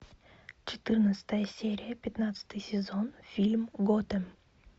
четырнадцатая серия пятнадцатый сезон фильм готэм